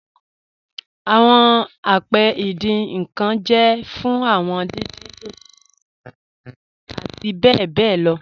Awọn àpẹ̀ ìdìn nkan jẹ́ fún awọn dídìn dodò, ẹ̀yin àti bẹ bẹ lọ